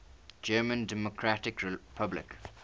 german democratic republic